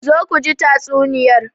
Zo ku ji tatsuniyar.